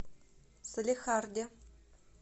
салехарде